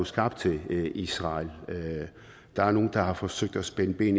skabt til israel der er nogle der har forsøgt at spænde ben